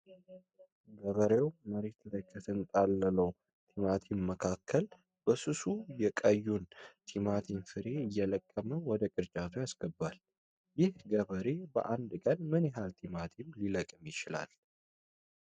ገበሬው መሬት ላይ ከተንጣለለው ቲማቲም መካከል፣ በስሱ የቀዩ ቲማቲም ፍሬ እየለቀመ ወደ ቅርጫቱ ያስገባል። ይህ ገበሬ በአንድ ቀን ምን ያህል ቲማቲም ሊለቅም ይችላል?